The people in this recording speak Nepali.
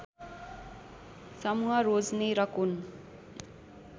समूह रोज्ने र कुन